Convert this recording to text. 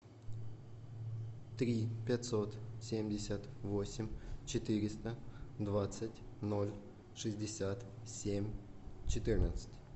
три пятьсот семьдесят восемь четыреста двадцать ноль шестьдесят семь четырнадцать